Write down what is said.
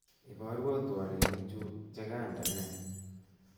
Iborwo twolinik chu chekandene